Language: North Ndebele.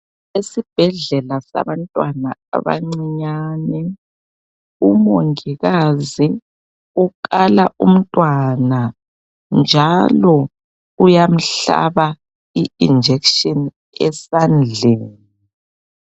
Esibhedlela sabantwana abancinyane umongikazi ukala umntwana njalo uyamhlaba i"injection" esandleni.